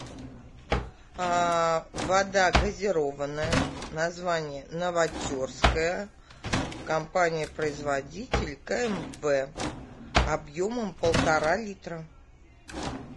вода газированная название новотерская компания производитель кмв объемом полтора литра